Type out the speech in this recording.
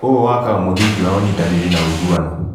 ũũ wakaga mũthingi wa ũnyitanĩri na ũiguano.